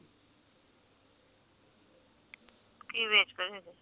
ਕਿ ਵੇਚਦੇ ਜੇ ਤੁਸੀ